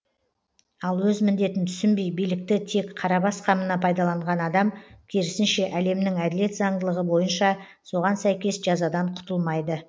ал өз міндетін түсінбей билікті тек қарабас қамына пайдаланған адам керісінше әлемнің әділет заңдылығы бойынша соған сәйкес жазадан құтылмайды